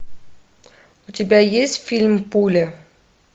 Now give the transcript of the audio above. у тебя есть фильм пуля